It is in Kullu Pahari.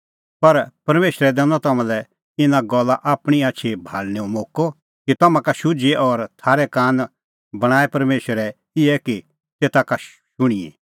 पर परमेशरै दैनअ तम्हां लै इना गल्ला आपणीं आछी भाल़णेंओ मोक्कअ कि तम्हां का शुझिए और थारै कान बणांऐं परमेशरै इहै कि तेता का शुंणिए